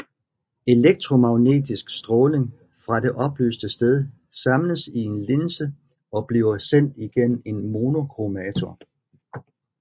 Elektromagnetisk stråling fra det oplyste sted samles i en linse og bliver sendt igennem en monokromator